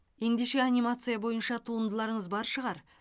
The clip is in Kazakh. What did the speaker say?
ендеше анимация бойынша туындыларыңыз бар шығар